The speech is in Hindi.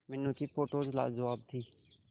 मीनू की फोटोज लाजवाब थी